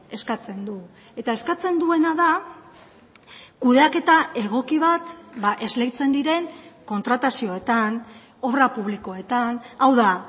eskatzen du eta eskatzen duena da kudeaketa egoki bat esleitzen diren kontratazioetan obra publikoetan hau da